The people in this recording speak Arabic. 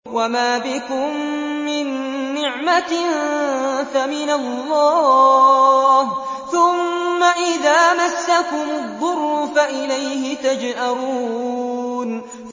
وَمَا بِكُم مِّن نِّعْمَةٍ فَمِنَ اللَّهِ ۖ ثُمَّ إِذَا مَسَّكُمُ الضُّرُّ فَإِلَيْهِ تَجْأَرُونَ